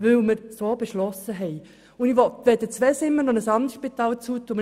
Ich will weder das Spital Zweisimmen noch ein anderes Spital schliessen.